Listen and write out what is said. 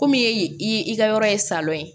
Komi e i ka yɔrɔ ye salon ye